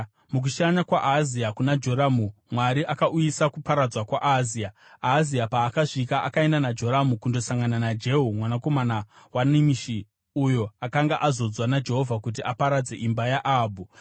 Mukushanya kwaAhazia kuna Joramu, Mwari akauyisa kuparadzwa kwaAhazia. Ahazia paakasvika akaenda naJoramu kundosangana naJehu mwanakomana waNimishi, uyo akanga azodzwa naJehovha kuti aparadze imba yaAhabhu.